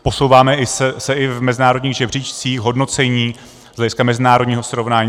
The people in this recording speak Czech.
Posouváme se i v mezinárodních žebříčcích hodnocení z hlediska mezinárodního srovnání.